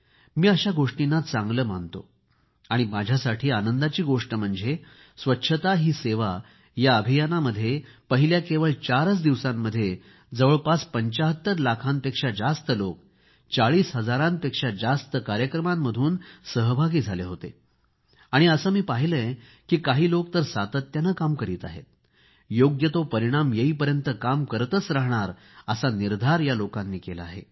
मी अशा गोष्टींना चांगले मानतो आणि माझ्यासाठी आनंदाची गोष्ट म्हणजे स्वच्छता ही सेवा या अभियानामध्ये पहिल्या केवळ चारच दिवसांमध्ये जवळपास 75 लाखांपेक्षा जास्त लोक 40 हजारांपेक्षा जास्त कार्यक्रमांमधून सहभागी झाले आणि असे मी पाहिले आहे की काही लोक तर सातत्याने काम करीत आहेत योग्य तो परिणाम येईपर्यंत काम करतच राहणार असा निर्धार या लोकांनी केला आहे